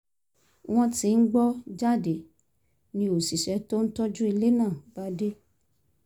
wọ́n ti ń gbọ́ jáde ni òṣìṣẹ́ tó ń tọ́jú ilé náà bá dé